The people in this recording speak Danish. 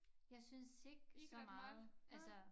Jeg synes ikke så meget altså